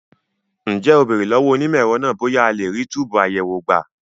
Ǹjẹ́ o béèrè lọ́wọ́ onímọ̀ ẹ̀rọ náà bóyá a lè rí túbùù àyẹ̀wò gbà?